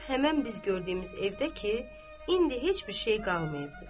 Zeynəb həmin biz gördüyümüz evdə ki, indi heç bir şey qalmayıbdır.